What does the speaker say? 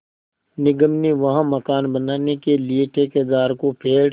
निगम ने वहाँ मकान बनाने के लिए ठेकेदार को पेड़